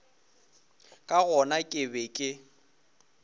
ka gona ke be ke